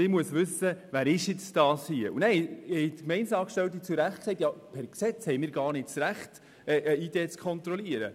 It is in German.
Gemeindeangestellte haben dann zu Recht festgestellt, dass sie per Gesetz gar nicht das Recht haben, eine ID zu kontrollieren.